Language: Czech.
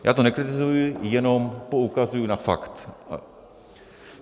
Já to nekritizuji, jenom poukazuji na fakt.